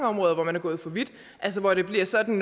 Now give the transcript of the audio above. områder hvor man er gået for vidt og hvor det bliver sådan